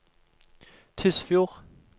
Tysfjord